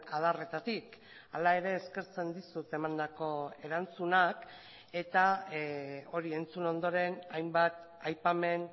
adarretatik hala ere eskertzen dizut emandako erantzunak eta hori entzun ondoren hainbat aipamen